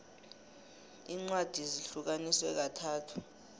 incwadi zihlukaniswe kathathu